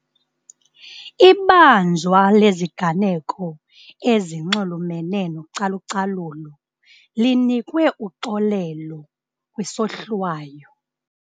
Ibanjwa leziganeko ezinxulumene nocalucalulo linikwe uxolelo kwisohlwayo.